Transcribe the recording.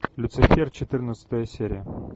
люцифер четырнадцатая серия